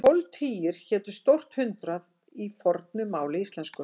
Tólf tugir hétu stórt hundrað í fornu máli íslensku.